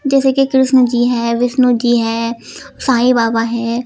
जैसे कि कृष्ण जी हैं विष्णु जी हैं साईं बाबा हैं।